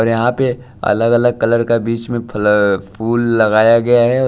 और यहां पे अलग-अलग कलर का बीच में फल फूल लगाया गया है।